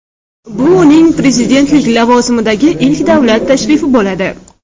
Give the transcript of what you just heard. Bu uning prezidentlik lavozimidagi ilk davlat tashrifi bo‘ladi.